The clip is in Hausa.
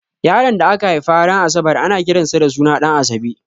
Yaron da aka haifa ran asabar ana kiran sa da suna Ɗanasabe